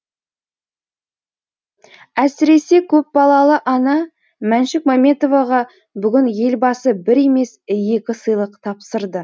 әсіресе көпбалалы ана мәншүк мәмбетоваға бүгін елбасы бір емес екі сыйлық тапсырды